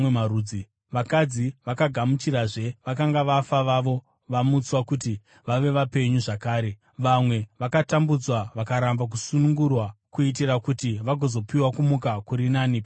Vakadzi vakagamuchirazve vakanga vafa vavo vamutswa kuti vave vapenyu zvakare. Vamwe vakatambudzwa vakaramba kusunungurwa, kuitira kuti vagozopiwa kumuka kuri nani pakunaka.